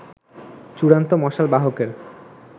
চূড়ান্ত মশাল বাহকের